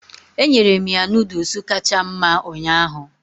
Enyere m ya Nụ́dúls kacha mma ụnyaahụ